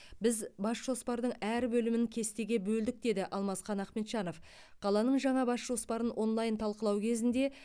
біз бас жоспардың әр бөлімін кестеге бөлдік деді алмасхан ахмеджанов қаланың жаңа бас жоспарын онлайн талқылау кезінде